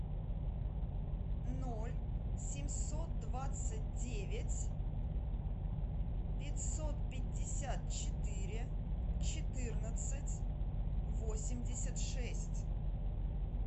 ноль семьсот двадцать девять пятьсот пятьдесят четыре четырнадцать восемьдесят шесть